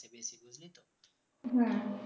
হম